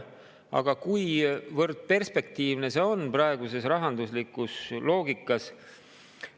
Aga kuivõrd perspektiivne on see praeguses rahanduslikus loogikas?